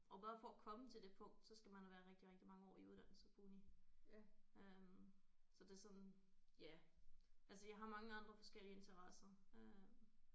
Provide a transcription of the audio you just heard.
Og bare for at komme til det punkt så skal man være rigtig rigtig mange år i uddannelse på uni øh så det er sådan ja altså jeg har mange andre forskellige interesser øh